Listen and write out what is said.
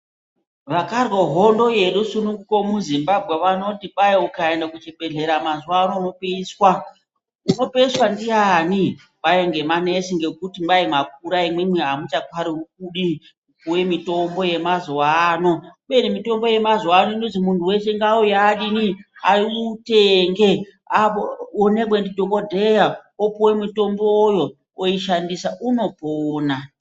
Vakarwa hondo yerusununguko muZimbabwe vanoti kwai ukaende kuchibhedhlera mazuwaano unopeiswa. Unopeiswa ndiyani ?Kwai ngemanesi ngekuti imwimwi mwakura amuchafaniri kupuwe mitombo yemazuwaano. Kubeni mitombo yemazuwaano inoti munthu weshe ngaauye adinii, autenge, aonekwe ndidhokodheya opuwe mitomboyo oishandida unopona,